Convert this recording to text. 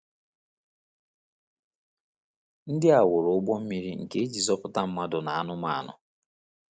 Ndị a wuru ụgbọ mmiri nke e ji zọpụta mmadụ na anụmanụ.